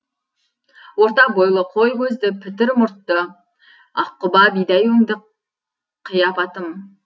орта бойлы қой көзді пітір мұртты аққұба бидай өңді қиапатым